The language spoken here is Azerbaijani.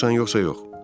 Razısan yoxsa yox?